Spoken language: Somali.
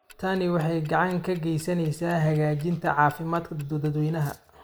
Tani waxay gacan ka geysaneysaa hagaajinta caafimaadka dadweynaha.